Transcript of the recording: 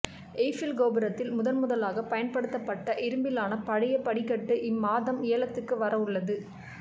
Eiffel கோபுரத்தில் முதன் முதலாக பயன்படுத்தப்பட்ட இரும்பிலான பழைய படிக்கட்டு இம்மாதம் ஏலத்துக்கு வர உள்ளது